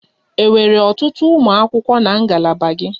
Enwere ọtụtụ ụmụ akwụkwọ na ngalaba gị?